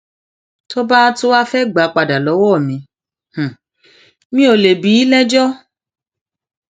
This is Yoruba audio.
tó bá tún wáá fẹẹ gbà á padà lọwọ mi mi ò lè bí i lẹjọ